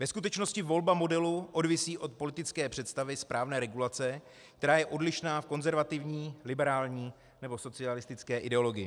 Ve skutečnosti volba modelu odvisí od politické představy správné regulace, která je odlišná v konzervativní, liberální nebo socialistické ideologii.